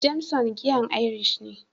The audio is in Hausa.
"Jameson", giyan irish ne.